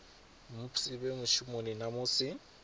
musi vhe mushumoni na musi